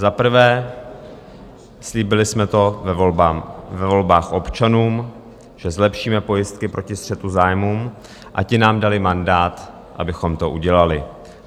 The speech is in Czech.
Za prvé, slíbili jsme to ve volbách občanům, že zlepšíme pojistky proti střetu zájmů, a ti nám dali mandát, abychom to udělali.